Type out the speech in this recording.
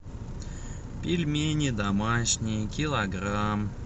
пельмени домашние килограмм